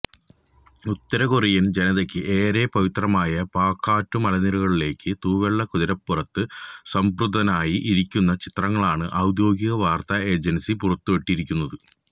ഉത്തരകൊറിയന് ജനതക്ക് ഏറെ പവിത്രമായ പാക്കറ്റു മലനരകളിലേക്ക് തൂവെള്ള കുതിരരപ്പുറത്ത് സംതൃപ്തനായി ഇരിക്കുന്ന ചിത്രങ്ങളാണ് ഔദ്യോഗിക വാര്ത്താ ഏജന്സി പുറത്തുവിട്ടിരിക്കുന്നത്